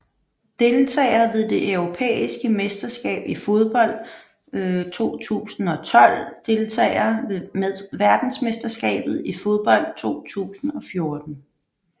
Deltagere ved det europæiske mesterskab i fodbold 2012 Deltagere ved verdensmesterskabet i fodbold 2014